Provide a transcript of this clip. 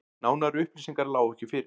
Nánari upplýsingar lágu ekki fyrir